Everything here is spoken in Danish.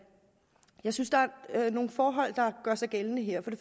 jeg synes der er nogle forhold der gør sig gældende her